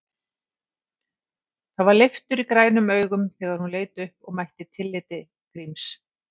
Það var leiftur í grænum augum þegar hún leit upp og mætti tilliti Gríms.